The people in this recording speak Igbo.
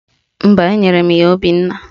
Mba, enyere m ya Obinna